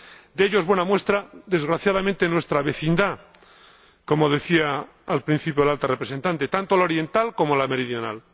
De ello es buena muestra, desgraciadamente, nuestra vecindad —como decía al principio la Alta Representante—, tanto la oriental como la meridional.